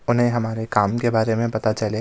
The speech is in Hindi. उन्हें हमारे काम के बारे में पता चले।